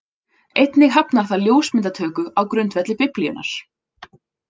Einnig hafnar það ljósmyndatöku á grundvelli Biblíunnar.